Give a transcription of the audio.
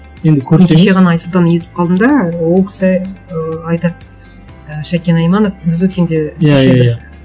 енді кеше ғана айсұлтан естіп қалдым да ол кісі ыыы айтады і шәкен айманов біз өткенде иә иә иә